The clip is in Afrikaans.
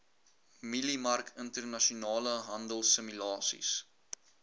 mieliemark internasionale handelsimulasies